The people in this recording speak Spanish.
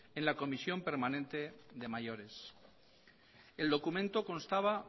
en la comisión permanente de mayores el documento constaba